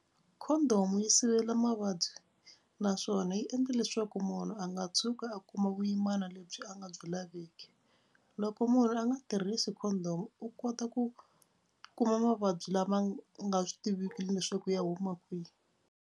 Condom yi sivela mavabyi naswona yi endla leswaku munhu a nga tshuki a kuma vuyimana lebyi a nga byi laveki Loko munhu a nga tirhisi condom u kota ku kuma mavabyi lama nga swi tiveki leswaku ya huma kwihi.